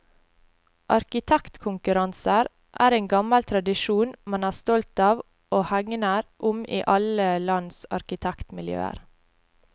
Arkitektkonkurranser er en gammel tradisjon man er stolt av og hegner om i alle lands arkitektmiljøer.